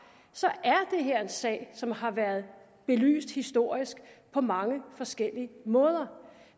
er det her en sag som har været belyst historisk på mange forskellige måder